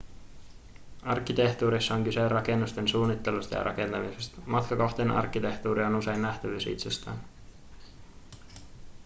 arkkitehtuurissa on kyse rakennusten suunnittelusta ja rakentamisesta matkakohteen arkkitehtuuri on usein nähtävyys itsessään